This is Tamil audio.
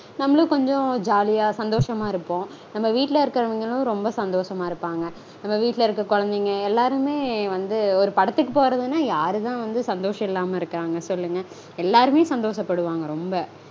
நம்மலும் கொஞ்சம் ஜாலியா சந்தோஷமா இருப்போம். நம்ம வீட்டில இருக்கறவங்களும் ரொம்ப சந்தோஷமா இருப்பாங்க. நம்ம வீட்டில இருக்க கொழந்தைங்க எல்லாருமே வந்து ஒரு படத்துக்கு போறதுனா யாருதா வந்து சந்தோஷம் இல்லாம இருக்காங்க சொல்லுங்க. எல்லாருமே சந்தோஷப்படுவாங்க ரொம்ப